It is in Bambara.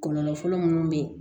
Kɔlɔlɔ fɔlɔ munnu bɛ ye